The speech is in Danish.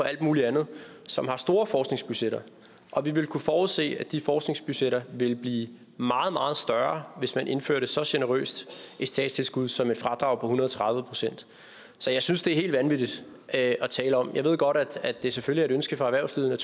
alt muligt andet som har store forskningsbudgetter og vi ville kunne forudse at de forskningsbudgetter ville blive meget meget større hvis man indførte et så generøst statstilskud som et fradrag på en hundrede og tredive procent så jeg synes det er helt vanvittigt at tale om det jeg ved godt at det selvfølgelig er et ønske fra erhvervslivet